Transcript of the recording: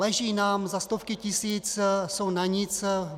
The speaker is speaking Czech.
Leží nám za stovky tisíc, jsou na nic.